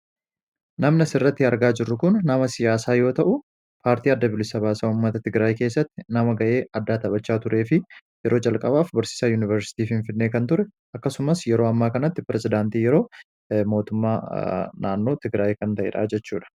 Namni asirratti argaa jirru kun nama siyaasaa yoo ta'u, paartii adda bilisa baasaa uummata tigraay keessatti nama gahee taphachaa turee fi yeroo calqabaaf barsiisaa yuunivarsiitii finfinnee kan ture akkasumas yeroo ammaa kanatti pirezedaantii yeroo mootummaa naannoo tigraay kan ta'eedha jechuudha.